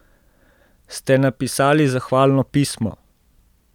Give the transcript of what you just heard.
Ste napisali zahvalno pismo?